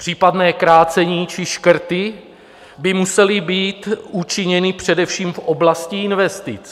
Případné krácení či škrty by musely být učiněny především v oblasti investic.